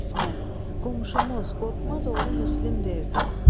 İsmət, qonşumuz Qorxmazoğlu Müslim verdi.